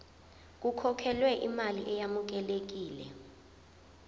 kukhokhelwe imali eyamukelekile